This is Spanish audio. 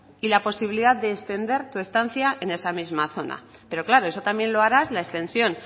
y la posibilidad de extender tu estancia en esa misma zona pero claro eso también lo harás la extensión